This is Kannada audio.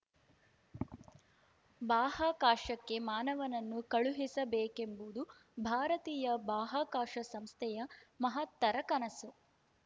ಬಾಹಾಕಾಶಕ್ಕೆ ಮಾನವನನ್ನು ಕಳುಹಿಸಬೇಕೆಂಬುದು ಭಾರತೀಯ ಬಾಹ್ಯಾಕಾಶ ಸಂಸ್ಥೆಯ ಮಹತ್ತರ ಕನಸು